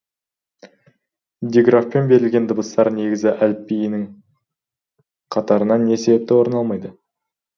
диграфпен берілген дыбыстар негізгі әліпбидің қатарынан не себепті орын алмайды